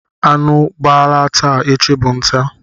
Anụ gbala taa, echi bụ nta.